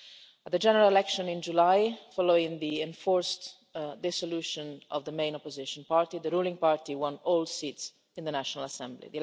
At the general election in July following the enforced dissolution of the main opposition party, the ruling party won all seats in the National Assembly.